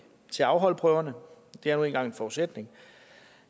til at afholde prøverne det er nu engang en forudsætning